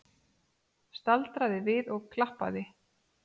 Staldraði við og klappaði!